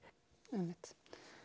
einmitt